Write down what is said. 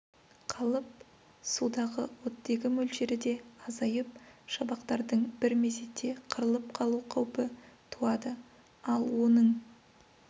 қалып судағы оттегі мөлшері де азайып шабақтардың бір мезетте қырылып қалу қаупі туады ал оның